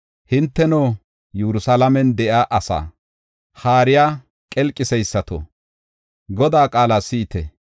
Hinteno, Yerusalaamen de7iya asaa haariya qelqiseysato Godaa qaala si7ite.